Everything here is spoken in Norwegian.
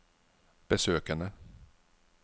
besøkene